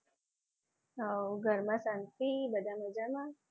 હવ ઘરમાં શાંતિ બધા મજામાં?